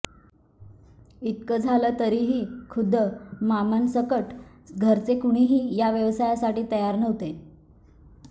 इतकं झालं तरीही खुद्द मामांसकट घरचे कुणीही या व्यवसायासाठी तयार नव्हते